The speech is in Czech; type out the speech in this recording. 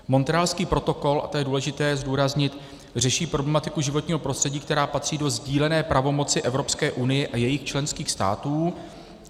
Montrealský protokol, a to je důležité zdůraznit, řeší problematiku životního prostředí, která patří do sdílené pravomoci Evropské unie a jejích členských států.